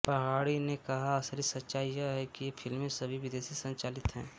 पहाड़ी ने कहा असली सच्चाई यह है कि ये फिल्में सभी विदेशी संचालित हैं